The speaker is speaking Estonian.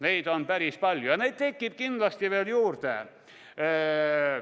Neid on päris palju ja neid tekib kindlasti veel juurde.